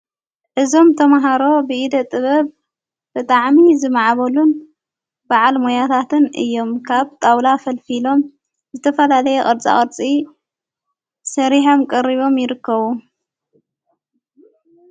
እዞም ተምሃሮ ብኢደ ጥበብ ብጥዕሚ ዝመዕበሉን በዓል መያታትን እዮም ካብ ጣውላ ፈልፊሎም ዝተፋላለየ ቕርፃ ቐርፂ ሠሪሃም ቀሪቦም ይርከቡ።